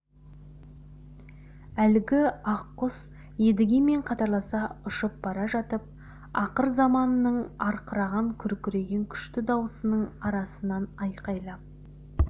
әлгі ақ құс едігемен қатарласа ұшып бара жатып ақыр заманның арқыраған күркіреген күшті даусының арасынан айқайлап